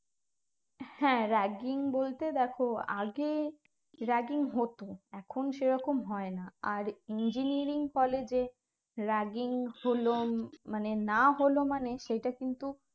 হ্যাঁ ragging বলতে দেখো আগে ragging হতো এখন সে রকম হয় না আর engineering college এ ragging হলো মানে না হলো মানে সেটা কিন্তু